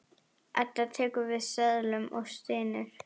Edda tekur við seðlunum og stynur.